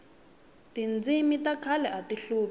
tindzimi ta khale ati hlupha